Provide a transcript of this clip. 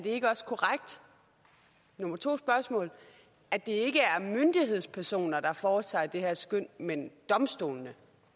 ikke også korrekt nummer to spørgsmål at det ikke er myndighedspersoner der foretager det her skøn men domstolene